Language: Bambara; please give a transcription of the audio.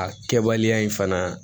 A kɛbaliya in fana